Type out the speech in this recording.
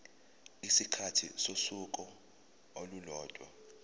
isikhathi sosuku olulodwa